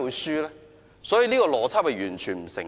所以，這邏輯完全不成立。